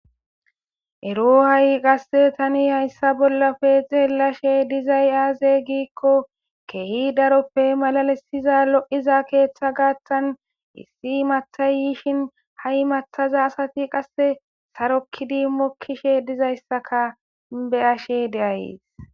Ero ha7i qasse tani hayssa bollafe xeelashe dizay aaze giikko kehi daroppe malalesiza lo7iza keeththa gaattan issi mattayishin ha7i mattaza asati qasse sarokkidi mokkishe dizayssaka be ashe deays.